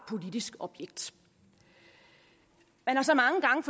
politisk objekt man har så mange gange